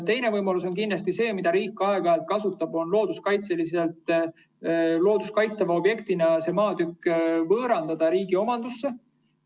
Teine võimalus kindlasti, mida riik aeg-ajalt kasutab, on võõrandada see maatükk looduskaitstava objektina riigi omandusse.